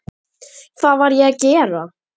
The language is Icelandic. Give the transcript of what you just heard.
Hvað var ég að gera?